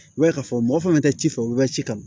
I b'a ye k'a fɔ mɔgɔ fana tɛ ci fɔ u bɛ ka ci kama